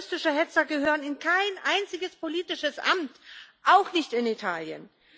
Rassistische Hetzer gehören in kein einziges politisches Amt, auch nicht in Italien.